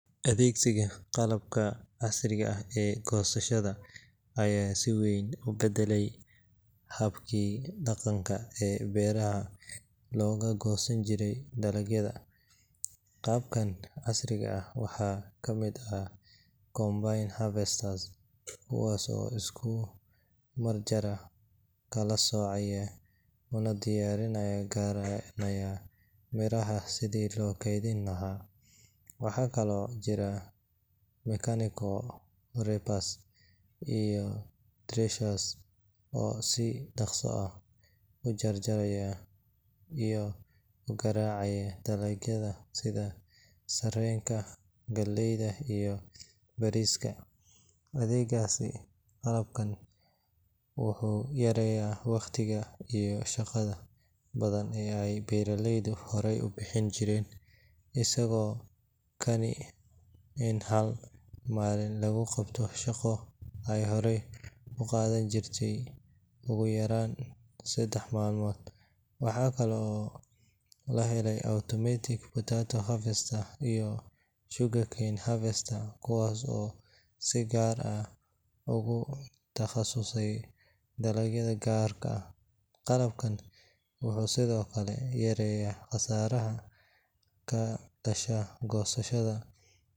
Adeegsiga qalabka casriga ah ee goosashada ayaa si weyn u beddelay habkii dhaqanka ee beeraha looga goosan jiray dalagyada. Qalabkan casriga ah waxaa ka mid ah combine harvesters, kuwaas oo isku mar jaraya, kala soocaya, una diyaar garaynaya miraha sidii loo kaydin lahaa. Waxaa kaloo jira mechanical reapers iyo threshers oo si dhakhso ah u jaraya iyo u garaacaya dalagyada sida sarreenka, galleyda iyo bariiska. Adeegsiga qalabkan wuxuu yareeyaa waqtiga iyo shaqada badan ee ay beeraleydu hore u bixin jireen, isagoo keenaya in hal maalin lagu qabto shaqo ay hore ugu qaadan jirtay ugu yaraan saddex maalmood. Waxaa kale oo la helay automatic potato harvesters iyo sugarcane harvesters kuwaas oo si gaar ah ugu takhasusay dalagyo gaar ah. Qalabkan wuxuu sidoo kale yareeyaa khasaaraha ka dhasha goosashada.